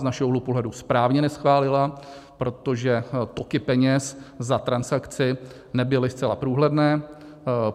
Z našeho úhlu pohledu správně neschválila, protože toky peněz za transakci nebyly zcela průhledné.